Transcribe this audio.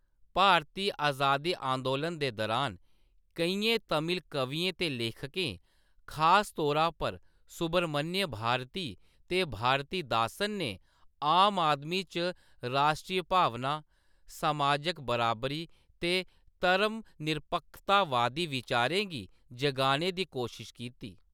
भारती अजादी अंदोलन दे दुरान, केइयें तमिल कवियें ते लेखकें, खास तौरा पर सुब्रमण्य भारती ते भारतीदासन, ने आम आदमी च राश्ट्री भावना, समाजक बराबरी ते धर्मनिरपक्खतावादी विचारें गी जगाने दी कोशश कीती।